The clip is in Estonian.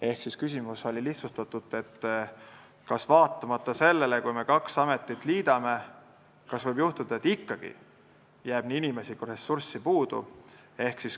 Lihtsustatult öeldes oli küsimus, kas vaatamata sellele, kui me kaks ametit liidame, võib juhtuda, et ikkagi jääb nii inimesi kui ka ressursse puudu.